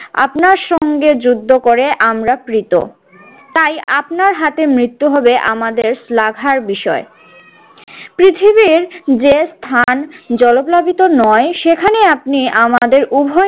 আপনার সঙ্গে যুদ্ধ করে আমরা কৃত তাই আপনার হাতে মৃত্যু হবে আমাদের শ্লাঘার বিষয়। পৃথিবীর যে স্থান জলপ্লাবিত নয় সেখানে আপনি আমাদের উভয়